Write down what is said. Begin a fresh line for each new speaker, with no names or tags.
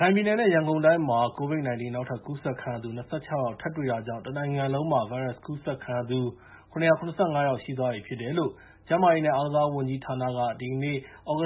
ခိုင်ပြည်နယ်နဲ့ ရန်ကုန်တိုင်းမှာ COVID-19 နောက်ထပ် ကူးစက်သူခံရသူ ၂၆ ယောက် ထပ်တွေ့တာကြောင့် တနိုင်ငံလုံးမှာ ဗိုင်းရပ်စ်ကူးစက်ခံရသူ ၇၇၅ ယောက် ရှိသွားပြီဖြစ်တယ်လို့ ကျန်းမာရေးနဲ့ အားကစားဝန်ကြီးဌာနက ဒီနေ့ည ၈